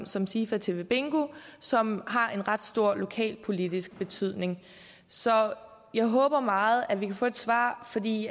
som sifa tv bingo som har en ret stor lokalpolitisk betydning så jeg håber meget at vi kan få et svar fordi